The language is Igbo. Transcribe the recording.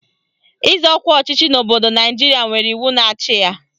Ịzọ ọkwa ọchịchị n'obodo Naijiria nwere iwu na-achị ya.